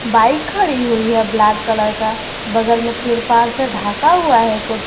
Bike खड़ी हुई है ब्लैक कलर का बगल में त्रिपाल से ढका हुआ है कुछ।